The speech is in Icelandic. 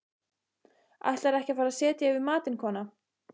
Ætlarðu ekki að fara að setja yfir matinn, kona?